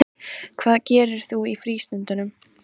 Ónafngreindur maður: Hvernig fannst ykkur talningin?